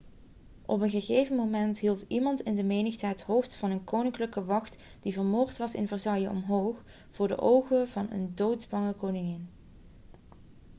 op een gegeven moment hield iemand in de menigte het hoofd van een koninklijke wacht die vermoord was in versailles omhoog voor de ogen van een doodsbange koningin